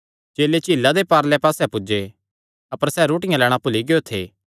चेले झीला दे पारले पास्से पुज्जे अपर सैह़ रोटियां लैणां भुल्ली गियो थे